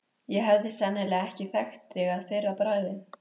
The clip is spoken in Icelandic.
Ég hefði sennilega ekki þekkt þig að fyrra bragði.